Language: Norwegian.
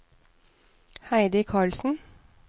Heidi Carlsen